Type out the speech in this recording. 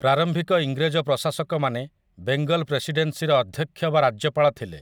ପ୍ରାରମ୍ଭିକ ଇଂରେଜ ପ୍ରଶାସକମାନେ 'ବେଙ୍ଗଲ୍ ପ୍ରେସିଡେନ୍ସି'ର ଅଧ୍ୟକ୍ଷ ବା ରାଜ୍ୟପାଳ ଥିଲେ ।